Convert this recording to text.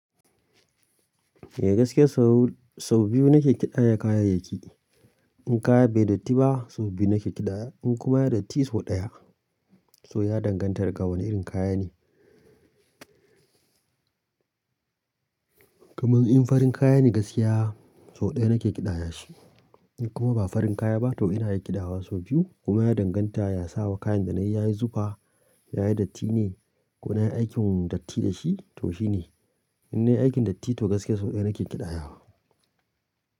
Eh gaskiya sau biyu nake kiɗaya kayayyaki. In kaya bai datti ba sau biyu nake kiɗaya, in kuma ya datti sau ɗaya. So ya danganta da ga wane irin kaya ne. Kaman in farin kaya ne gaskiya sau ɗaya nake kiɗaya shi. In kuma ba farin kaya ba to ina yin kiɗawa sau biyu kuma ya danganta ya sawa kayan da na yi yayi zufa, yayi datti ne ko na yi aikin datti da shi to shine. In na yi aikin datti to gaskiya sau ɗaya nake kiɗayawa.